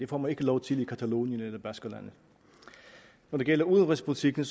får man ikke lov til i catalonien eller baskerlandet når det gælder udenrigspolitikken